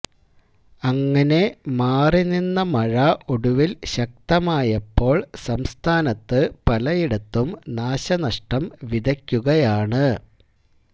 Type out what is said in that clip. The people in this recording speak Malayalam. അങ്ങനെ മാറിനിന്ന മഴ ഒടുവിൽ ശക്തമായപ്പോൾ സംസ്ഥാനത്ത് പലയിടത്തും നാശനഷ്ടം വിതയ്ക്കുകയാണ്